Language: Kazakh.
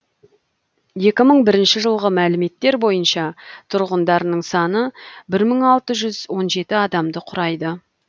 екі мың бірінші жылғы мәліметтер бойынша тұрғындарының саны мың алты жүз он жеті адамды құрайды